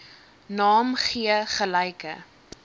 naam gee gelyke